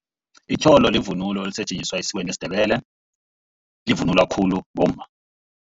Itjholo livunulo elisetjenziswa esikweni lesiNdebele. Livunulwa khulu bomma.